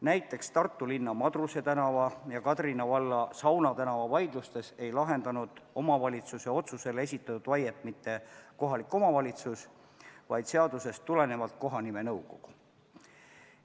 Näiteks Tartu linna Madruse tänava ja Kadrina valla Sauna tänava vaidlustes ei lahendanud omavalitsuse otsusel esitatud vaiet mitte kohalik omavalitsus, vaid seadusest tulenevalt kohanimenõukogu.